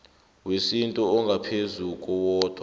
wesintu ongaphezu kowodwa